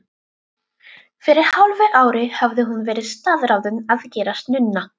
Fyrir hálfu ári hafði hún verið staðráðin að gerast nunna.